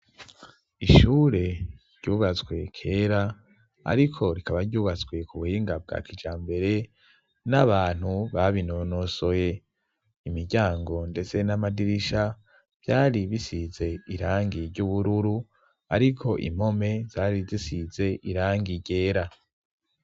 Ishure ryubatswe kera ariko rikaba ryubatswe ku buhinga bwa kijambere n'abantu babinonosoye. Imiryango ndetse n'amadirisha vyari bisize irangi ry'ubururu ariko impome zari zisize irangi ryera